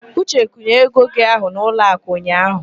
Uche kwụnyere ego gị ahụ n'ụlọakụ ụnyaahụ.